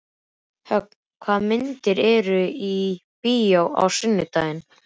Högna, hvaða myndir eru í bíó á sunnudaginn?